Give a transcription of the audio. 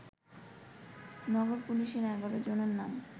নগর পুলিশের ১১ জনের নাম